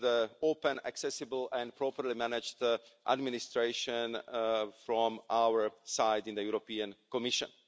an open, accessible and properly managed administration from our side in the European Commission.